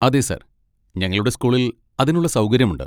അതെ സർ, ഞങ്ങളുടെ സ്കൂളിൽ അതിനുള്ള സൗകര്യമുണ്ട്.